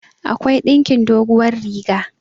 akwai ɗinkin doguwar riga